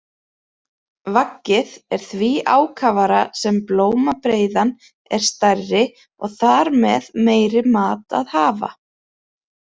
Vaggið er því ákafara sem blómabreiðan er stærri og þar með meiri mat að hafa.